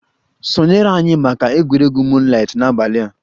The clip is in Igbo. Sonyere anyị maka egwuregwu moonlight n'abalị a!